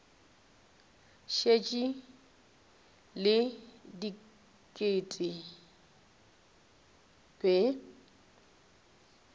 šetše le diket ke be